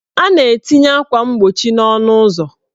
A na-etinye akwa mgbochi n' ọnụụzọ.